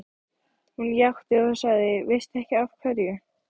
Hún játti því og sagði: Veistu ekki af hverju?